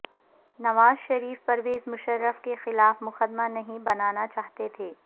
نواز شریف پرویز مشرف کیخلاف مقدمہ نہیں بناناچاہتے تھے